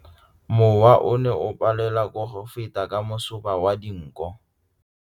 Mowa o ne o palelwa ke go feta ka masoba a dinko.